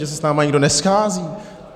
Že se s námi nikdo neschází?